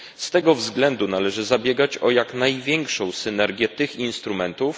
Z tego względu należy zabiegać o jak największą synergię tych instrumentów.